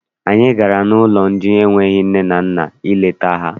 Anyị gara n'ụlọ ndị enweghị nne na nna ileta ha.